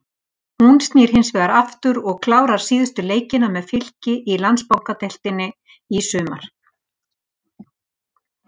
Hún snýr hinsvegar aftur og klárar síðustu leikina með Fylki í Landsbankadeildinni í sumar.